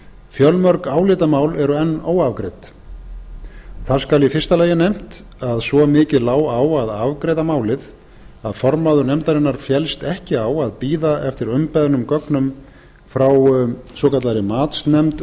fjölmörg álitamál eru enn óafgreidd þar skal í fyrsta lagi nefnt að svo mikið lá á að afgreiða málið að formaður nefndarinnar féllst ekki á að bíða eftir umbeðnum gögnum frá matsnefnd